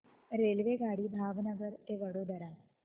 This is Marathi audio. रेल्वेगाडी भावनगर ते वडोदरा